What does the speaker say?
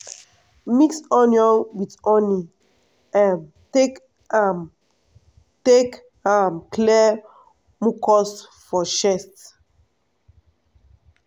mix onion with honey um take um take um clear mucus for chest.